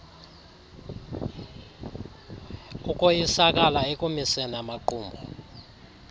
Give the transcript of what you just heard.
ukoyisakala ekumiseni amaqumrhu